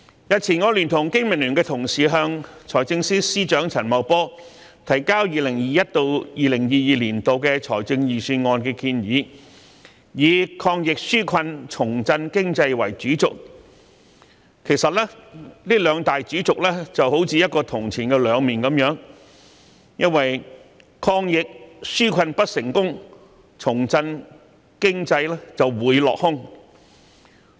日前，我聯同經民聯同事向財政司司長陳茂波提交 2021-2022 年度財政預算案建議，以"抗疫紓困，重振經濟"作為主軸，其實這兩大主軸有如銅錢的兩面，因為抗疫紓困不成功，重振經濟會落空。